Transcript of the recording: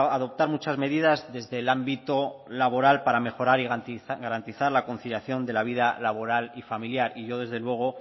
adoptar muchas medidas desde el ámbito laboral para mejorar y garantizar la conciliación de la vida laboral y familiar y yo desde luego